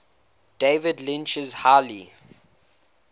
david lynch's highly